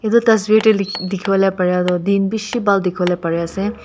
etu tasvir dae liki dikibolae paro toh din bishi bhal dikipolae pari asae.